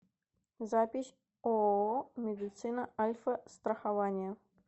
запись ооо медицина альфастрахования